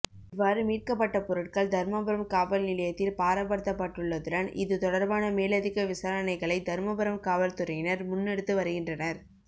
இவ்வாறு மீட்கப்பட்ட பொருட்கள் தருமபுரம் காவல்நிலையத்தில் பாரப்படுத்தப்பட்டுள்ளதுடன் இது தொடர்பான மேலதிக விசாரனைகளை தருமபுரம் காவல்துறையினர் முன்னெடுத்து வருகின்றனர்